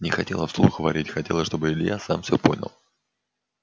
не хотела вслух варить хотела чтобы илья сам всё понял